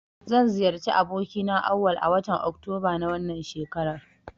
Zan ziyarci abokina Auwal a watan oktoba na wannan shekarar.